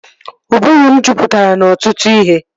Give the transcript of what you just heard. Ụbụrụ m jupụtara n'ọtụtụ ihe